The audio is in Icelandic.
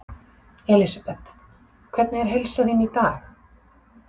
Elísabet: Hvernig er heilsa þín í dag?